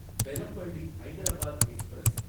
Bellampalli Hyderabad express